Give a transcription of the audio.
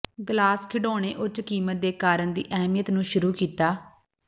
glass ਖਿਡੌਣੇ ਉੱਚ ਕੀਮਤ ਦੇ ਕਾਰਨ ਦੀ ਅਹਿਮੀਅਤ ਨੂੰ ਸ਼ੁਰੂ ਕੀਤਾ